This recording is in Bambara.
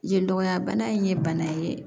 Yen dɔgɔya bana in ye bana ye